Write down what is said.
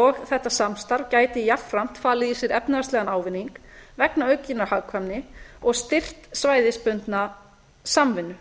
og þetta samstarf gæti jafnframt falið í sér efnahagslegan ávinning vegna aukinnar hagkvæmni og styrkt svæðisbundna samvinnu